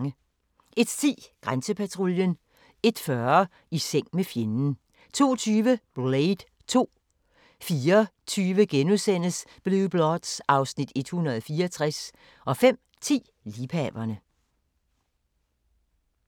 01:10: Grænsepatruljen 01:40: I seng med fjenden 02:20: Blade 2 04:20: Blue Bloods (Afs. 164)* 05:10: Liebhaverne